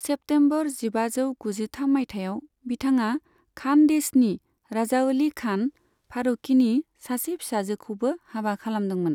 September जिबाजौ गुजिथाम माइथायाव, बिथाङा खानदेशनि राजाअली खान फारूकीनि सासे फिसाजोखौबो हाबा खालामदोंमोन।